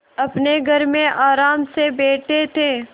अपने घर में आराम से बैठे थे